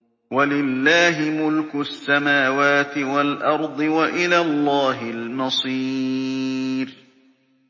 وَلِلَّهِ مُلْكُ السَّمَاوَاتِ وَالْأَرْضِ ۖ وَإِلَى اللَّهِ الْمَصِيرُ